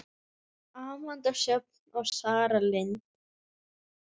Amanda Sjöfn og Sara Lind.